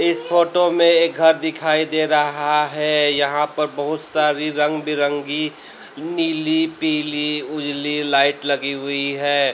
इस फोटो में एक घर दिखाई दे रहा है यहां पर बहुत सारी रंग बिरंगी नीली पीली उजली लाइट लगी हुई है।